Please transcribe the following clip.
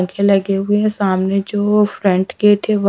के लगे हुए हैं सामने जो फ्रंट गेट है वो--